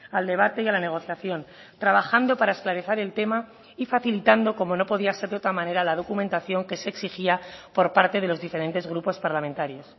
al debate y a la negociación trabajando para esclarecer el tema y facilitando como no podía ser de otra manera la documentación que se exigía por parte de los diferentes grupos parlamentarios